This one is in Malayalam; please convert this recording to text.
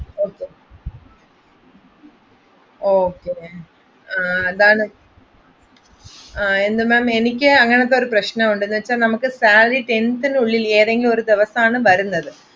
Okay, Okay അതാണ് എനിക്ക് അങ്ങനെത്തെ ഒരു പ്രശനമുണ്ട് salary tenth ന് ഉള്ളിൽ ഏതെങ്കിലും ഒരു ദിവസമാണ് വരുന്നത്.